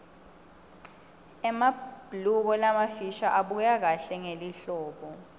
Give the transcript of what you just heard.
emabhuluko lamafisha abukeka kahle ngelihlobo